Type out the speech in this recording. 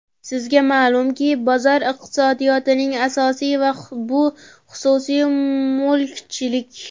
Sizga ma’lumki, bozor iqtisodiyotining asosi, bu xususiy mulkchilik.